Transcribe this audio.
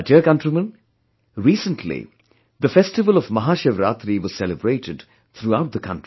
My dear countrymen, recently the festival of Maha Shivaratri was celebrated throughout the country